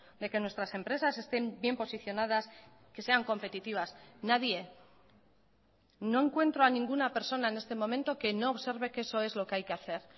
de que nuestras empresas estén bien posicionadas que sean competitivas nadie no encuentro a ninguna persona en este momento que no observe que eso es lo que hay que hacer